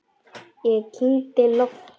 Ég kyngdi lofti.